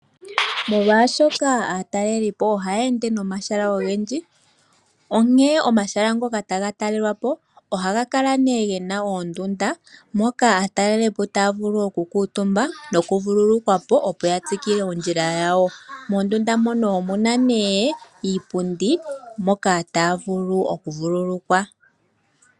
Molwashoka aatalelipo ohaya ende nomahala ogendji, onkee omahala mgoka taga talelwa po ohaga kala nee gena oondunda. Moka aatalelipo taa vulu okukutumba nokuvululukwa po opo ya tsikile oondjila dhawo. Moondunda mono omuna nee iipundi moka taa vuu okuvululukwa.